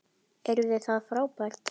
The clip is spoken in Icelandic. Yrði það frábært?